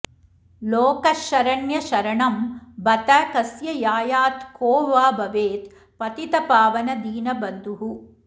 लोकः शरण्य शरणं बत कस्य यायात् को वा भवेत् पतितपावन दीनबन्धुः